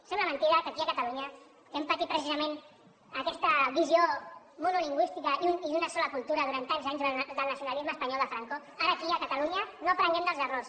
sembla mentida que aquí a catalunya que hem patit precisament aquesta visió monolingüista i d’una sola cultura durant tants anys del nacionalisme espanyol de franco ara aquí a catalunya no aprenguem dels errors